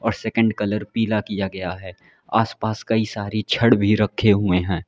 और second colour पीला किया गया है आस पास कई सारी छड़ भी रखे हुए है।